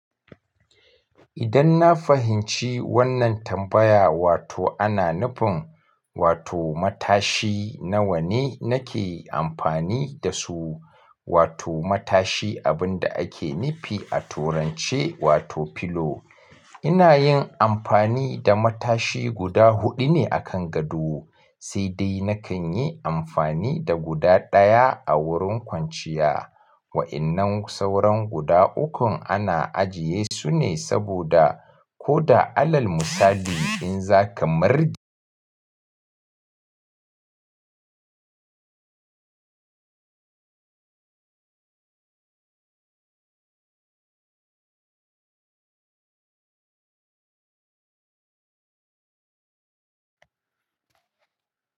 Idan na fahimci wannan tambaya wato ana nufin wato matashi nawa ne nake amfani da su, wato matashi abin da ake nufi a turanche wato pillow. Ina yin amfani da matashi guda huɗu ne akan gado sai dai nakan yi amfani da guda ɗaya a wurin kwanciya. Wa'innan sauran guda ukun ana ajiye sune saboda koda alal musali in zaka marde.